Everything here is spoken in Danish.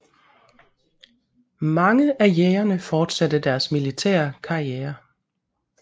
Mange af Jägerne fortsatte deres militære karrierer